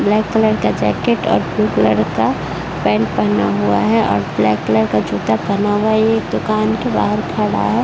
Black colour का jacket और blue colour का पैन्ट पहना हुआ है और ब्लैक कलर का जूता पहना हुआ है। ये एक दुकान के बाहर खड़ा है।